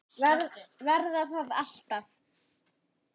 Verða það alltaf.